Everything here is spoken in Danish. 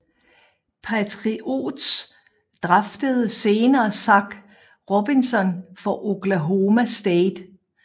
Patriots draftede senere Zac Robinson fra Oklahoma State